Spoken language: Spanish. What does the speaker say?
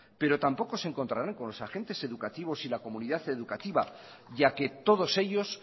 pero tampoco se encontrarán con los agentes educativos y la comunidad educativa ya que todos ellos